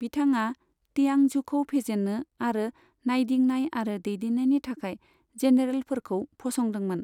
बिथाङा तियांझुखौ फेजेनो आरो नायदिंनाय आरो दैदेननायनि थाखाय जेनेरेलफोरखौ फसंदोंमोन।